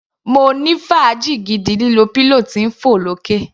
Mo ní fàájì gidi lílo pillow tí ń fọ̀ lókè.